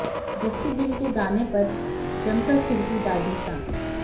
जस्सी गिल के गाने पर जमकर थिरकीं दादी सा